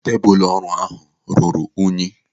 Tebụl ọrụ ahụ ruru unyi.